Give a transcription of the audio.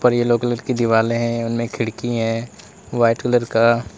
yellow colour की दीवाले हैं उनमें खिड़की हैं वाइट कलर का--